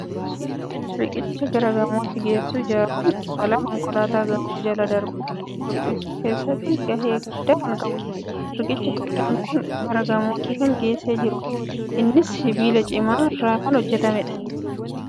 Riqicha gara gamootti geessu ijaaruun balaa konkolaataa gamoo jala darbuun dhufu hir'isuu keessatti gahee guddaa kan qabudha. Riqichi guddaan kun gara gamootti kan geessaa jirudha. Innis sibiila cimaa irraa kan hojjetamudha.